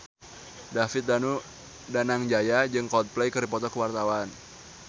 David Danu Danangjaya jeung Coldplay keur dipoto ku wartawan